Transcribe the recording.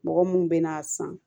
Mɔgɔ mun bɛ n'a san